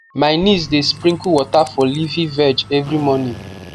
my niece dey sprinkle water for leafy veg every morning